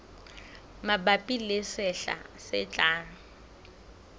mabapi le sehla se tlang